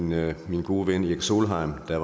norge min gode ven erik solheim der